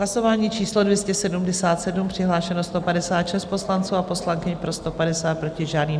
Hlasování číslo 277, přihlášeno 156 poslanců a poslankyň, pro 150, proti žádný.